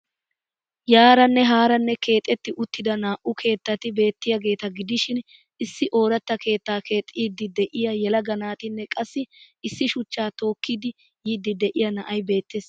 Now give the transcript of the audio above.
Yaaranne haaraanne keexxetti uttida naa'u keettati beettiyageeta gidishshiin issi oorata keettaa keexxidi de'iya yelaga naatinne qassi issi shuchchaa tookkidi yiidi de'iya na'ay beettees.